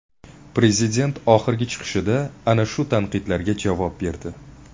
Prezident oxirgi chiqishida ana shu tanqidlarga javob berdi.